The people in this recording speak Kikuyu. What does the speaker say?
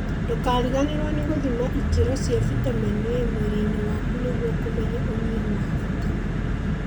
Ndũkariganĩrwo nĩ gũthima ikĩro cia vitamin A mwirĩ-inĩ waku nĩguo kũmenya ũnyihu wa vitameni